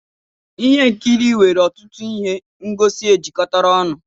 ihe nkiri nwere ọtụtụ ihe ngosi ejikọtara ọnụ